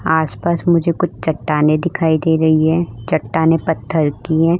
आसपास मुझे कुछ चट्टानें दिखाइ दे रही हैं। चट्टानें पत्थर की हैं।